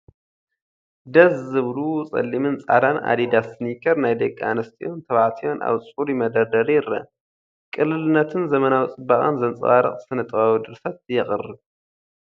ደስ ዝብሉ ጸሊምን ጻዕዳን ኣዲዳስ ስኒከር ናይ ደቂ ኣንስትዮን ተባዕትዮን ኣብ ጽሩይ መደርደሪ ይረአ፤ ቅልልነትን ዘመናዊ ጽባቐን ዘንጸባርቕ ስነ-ጥበባዊ ድርሰት የቕብ።